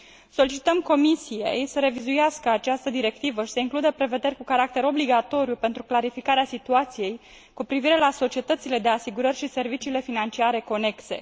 Solicităm Comisiei să revizuiască această directivă și să includă prevederi cu caracter obligatoriu pentru clarificarea situației cu privire la societățile de asigurări și serviciile financiare conexe.